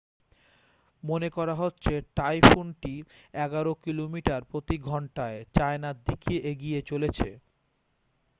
মনে করা হচ্ছে টাইফুনটি এগারো কিলোমিটার প্রতি ঘণ্টায় চায়নার দিকে এগিয়ে চলেছে